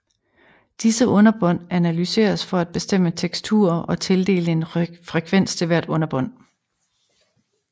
Disse underbånd analyseres for at bestemme teksturer og tildele en frekvens til hvert underbånd